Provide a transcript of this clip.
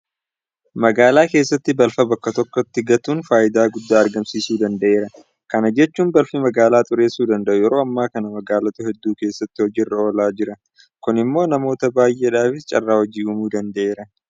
Magaalaa keessatti balfa bakka tokkotti gatuun faayidaa guddaa argamsiisuu danda'eera. Kana jechuun balfi magaalaa xureessuu danda'u yeroo ammaa kana magaalota hedduu keessatti hojii irra oolaa jira. Kun immoo namoota baay'eedhaafis carraa hojii uumuu danda'eera.